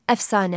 Əfsanə.